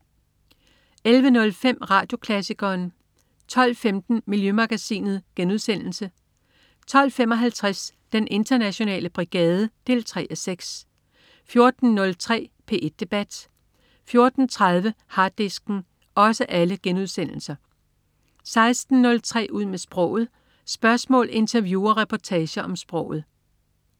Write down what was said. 11.05 Radioklassikeren 12.15 Miljømagasinet* 12.55 Den internationale brigade 3:6* 14.03 P1 debat* 14.30 Harddisken* 16.03 Ud med sproget. Spørgsmål, interview og reportager om sproget